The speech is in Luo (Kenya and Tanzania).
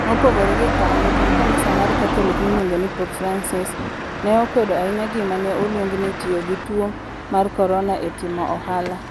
Mopogore gi kanyo, jatend kanisa mar Katholik miluongo ni Pope Francis, ne okwedo ahinya gima ne oluongo ni tiyo gi tuo mar Corona e timo ohala.